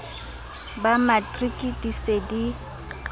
ba matriki di se di